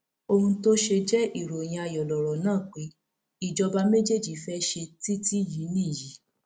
ohun tó ṣe jẹ ìròyìn ayọ lọrọ náà pé ìjọba méjèjì fẹẹ ṣe títí yìí nìyí